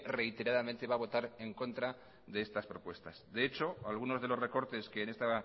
reiteradamente va a votar en contra de estas propuestas de hecho algunos de los recortes que en esta